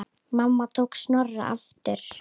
Mamma tók Snorra aftur.